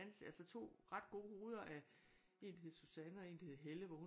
Altså to ret gode hoveder af en der hed Susanne og en der hed Helle hvor hun